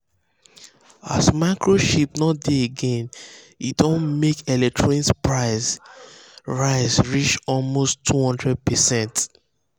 as microchips no dey again e don make electronics price rise reach almost 200%.